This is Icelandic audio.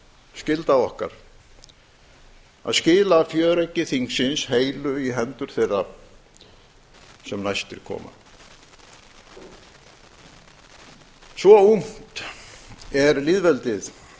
skylda okkar að skila fjöreggi þingsins heilu í hendur þeirra sem næstir koma svo ungt er lýðveldið